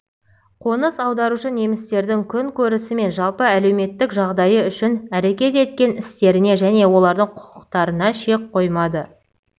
қоныс аударушы немістердің күнкөрісі мен жалпы әлеуметтік жағдайы үшін әрекет еткен істеріне және олардың құқықтарына шек қоймады